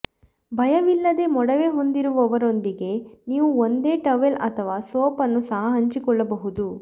ಭಯವಿಲ್ಲದೆ ಮೊಡವೆ ಹೊಂದಿರುವವರೊಂದಿಗೆ ನೀವು ಒಂದೇ ಟವೆಲ್ ಅಥವಾ ಸೋಪ್ ಅನ್ನು ಸಹ ಹಂಚಿಕೊಳ್ಳಬಹುದು